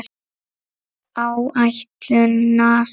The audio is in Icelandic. Áætlun NASA